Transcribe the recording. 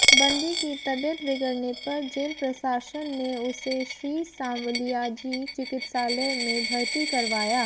बंदी की तबीयत बिगडऩे पर जेल प्रशासन ने उसे श्री सांवलियाजी चिकित्सालय में भर्ती करवाया